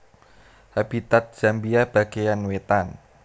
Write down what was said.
Habitat Zambia bagéyan wétan